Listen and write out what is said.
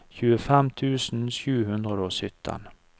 tjuefem tusen sju hundre og sytten